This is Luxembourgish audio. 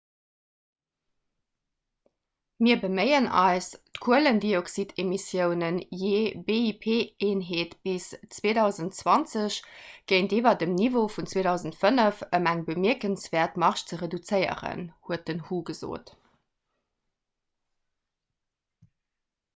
mir beméien eis d'kuelendioxidemissiounen jee bip-eenheet bis 2020 géintiwwer dem niveau vun 2005 ëm eng bemierkenswäert marge ze reduzéieren huet den hu gesot